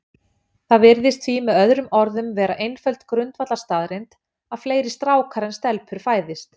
Það virðist því með öðrum orðum vera einföld grundvallarstaðreynd að fleiri strákar en stelpur fæðist.